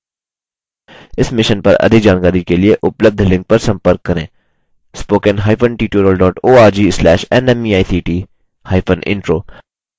इस mission पर अधिक जानकारी के लिए उपलब्ध लिंक पर संपर्क करेंspoken hyphen tutorial dot org slash nmeict hyphen intro